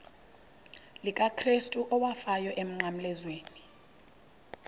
likakrestu owafayo emnqamlezweni